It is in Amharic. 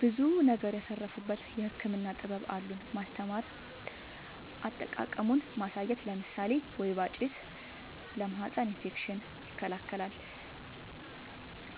ብዙ ነገር ያተረፉበት የህክምና ጥበብ አሉን ማስተማር አጠቃቀሙን ማሳየት ለምሳሌ ወይባ ጭስ ለማህፀን እፌክሽን ይከላከላል